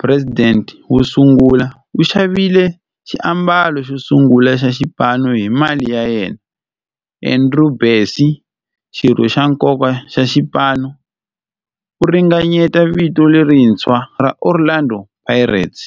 president wosungula, u xavile xiambalo xosungula xa xipano hi mali ya yena. Andrew Bassie, xirho xa nkoka xa xipano, u ringanyete vito lerintshwa ra 'Orlando Pirates'.